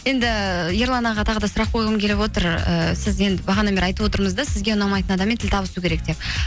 енді ерлан аға тағы да сұрақ қойғым келіп отыр ыыы сіз енді бағанадан бері айтып отырмыз да сізге ұнамайтын адаммен тіл табысу керек деп